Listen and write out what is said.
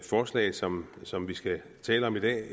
forslag som som vi skal tale om i dag